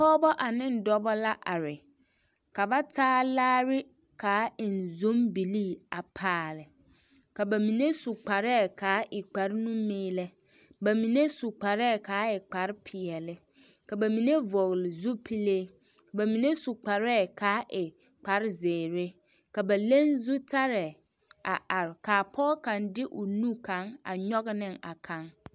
Pɔgebɔ ane dɔbɔ la are ka ba taa laare k'a eŋ zombilii a paale ka bamine su kparɛɛ k'a e kpare nu-meelɛ, bamine su kparɛɛ k'a e kpare peɛle ka bamine vɔgele zupile, bamine su kparɛɛ k'a e kpare zeere ka ba leŋ zutarɛɛ a are k'a pɔge kaŋ de o nu kaŋ a nyɔge ne a kaŋ.